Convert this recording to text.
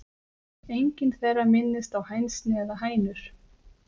Engin þeirra minnist á hænsni eða hænur.